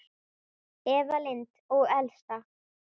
Eva Lind og Elsa.